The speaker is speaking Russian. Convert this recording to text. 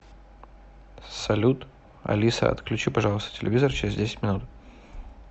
салют алиса отключи пожалуйста телевизор через десять минут